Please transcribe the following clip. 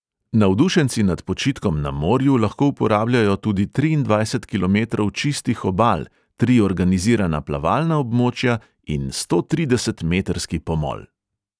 Navdušenci nad počitkom na morju lahko uporabljajo tudi triindvajset kilometrov čistih obal, tri organizirana plavalna območja in stotridesetmetrski pomol.